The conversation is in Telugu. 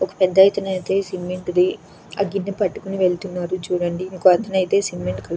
ఒక పెద్దాయితినైతే సిమెంట్ ది ఆ గిన్నె పట్టుకుని వెళ్తున్నారు చూడండి ఇంకోతనయితే సిమెంట్ కలుప్ --